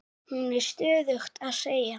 Hún er stöðugt að segja